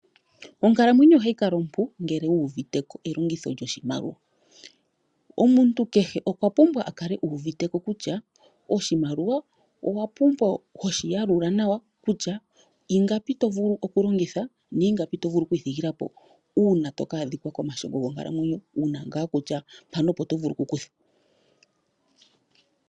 Onkalamwenyo ohayi kala ompu ngele wuuviteko elongitho lyoshimaliwa. Omuntu kehe okwapumbwa okukala uuviteko kutya oshimaliwa owapumbwa hoshi yalula nawa kutya ingapi tovulu okulongitha na ingapi tovulu oku ithigila po una toka adhika komashongo gonkalamwenyo wuna nga kutya mpaka opo tovulu okukutha.